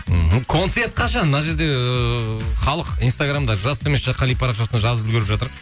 ыыы концерт қашан мына жерде ыыы халық инстаграмда жас төмен сызықша қали парақшасына жазып үлгеріп жатыр